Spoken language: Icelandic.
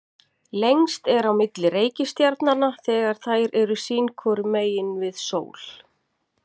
lengst er á milli reikistjarnanna þegar þær eru sín hvoru megin við sól